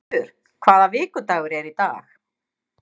Guðmundur, hvaða vikudagur er í dag?